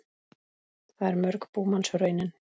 Það er mörg búmanns raunin.